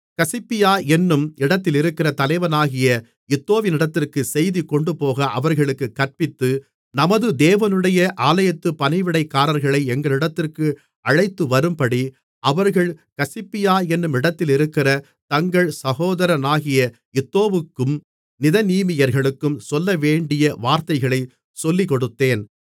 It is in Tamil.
கசிப்பியா என்னும் இடத்திலிருக்கிற தலைவனாகிய இத்தோவிடத்திற்குச் செய்தி கொண்டுபோக அவர்களுக்குக் கற்பித்து நமது தேவனுடைய ஆலயத்துப் பணிவிடைக்காரர்களை எங்களிடத்திற்கு அழைத்துவரும்படி அவர்கள் கசிப்பியா என்னும் இடத்திலிருக்கிற தங்கள் சகோதரனாகிய இத்தோவுக்கும் நிதனீமியர்களுக்கும் சொல்லவேண்டிய வார்த்தைகளைச் சொல்லிக்கொடுத்தேன்